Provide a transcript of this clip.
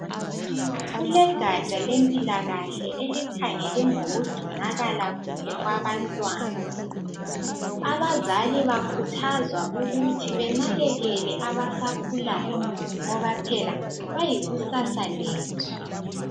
Kulegatsha lempilakahle elikhangele ngokugcinakala kuhle kwabantwana. Abazali bakhuthazwa ukuthi benakekele kuhle abasakhulayo ngoba phela bayikusasa lethu.